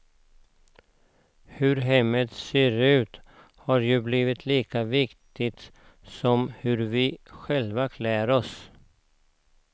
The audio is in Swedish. Hur hemmet ser ut har ju blivit lika viktigt som hur vi själva klär oss.